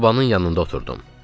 Sobanın yanında oturdum.